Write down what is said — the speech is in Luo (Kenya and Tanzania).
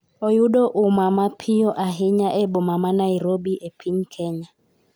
oyudo umma mapiyo ahinya e boma ma Nairobi e piny Kenya